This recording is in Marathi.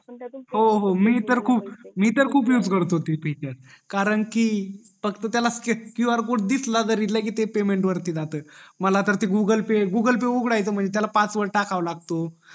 हो हो मी तर खूप यूज करतो ते कारण कि त्याला qr कोड दिसला जरी तरी ते लगेच पेमेंट वरती जात मला तर ते गुगल पेय गुगल पेय उघडायचं म्हणजे त्याला पासवर्ड टाकावा लागतो